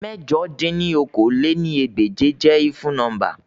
Mẹ̀jọ dín ní okòó-lé-ní-ẹgbẹ́je jẹ efun nọmba